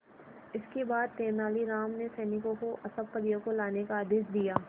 इसके बाद तेलानी राम ने सैनिकों को सब परियों को लाने का आदेश दिया